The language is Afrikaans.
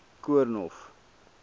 koornhof